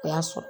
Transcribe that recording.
O y'a sɔrɔ